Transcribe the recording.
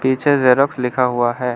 पीछे जेरॉक्स लिखा हुआ है।